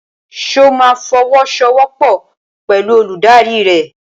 Ṣo ma fọwọ́sowọ́pọ̀ pẹ̀lú olùdarí rẹ?